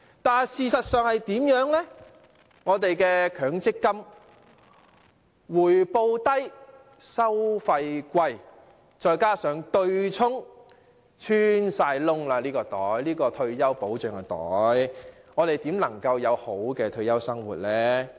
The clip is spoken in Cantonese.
但是，事實是強積金回報低、收費高，再加上對沖安排，這個退休保障的口袋已穿孔，我們如何能有好的退休生活呢？